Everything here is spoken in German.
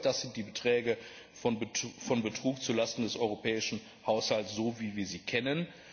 Das sind die Beträge von Betrug zu Lasten des europäischen Haushalts, so wie wir sie kennen.